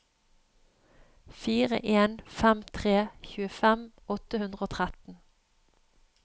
fire en fem tre tjuefem åtte hundre og tretten